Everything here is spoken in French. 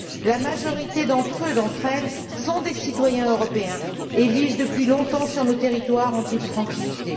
La majorité d'entre eux et d'entre elles sont des citoyens européens et vivent depuis longtemps sur nos territoires en toute tranquillité.